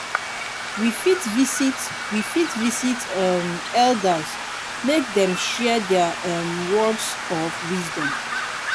we fit visit we fit visit um elders make dem share their um words of wisdom